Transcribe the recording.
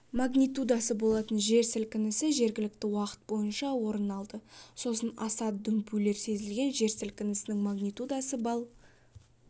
магнитудасы болатын жер сілкінісі жергілікті уақыт бойынша орын алды сосын аса дүмпулер сезілген жер сілкінісінің магнитудасы балл